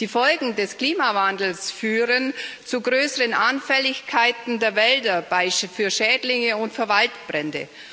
Die Folgen des Klimawandels führen zu größeren Anfälligkeiten der Wälder, zum Beispiel für Schädlinge und für Waldbrände.